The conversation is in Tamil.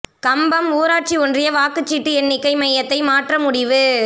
கம்பம் ஊராட்சி ஒன்றிய வாக்குச் சீட்டு எண்ணிக்கை மையத்தை மாற்ற முடிவு